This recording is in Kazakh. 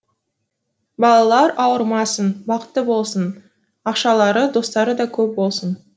балалар ауырмасын бақытты болсын ақшалары достары да көп болсын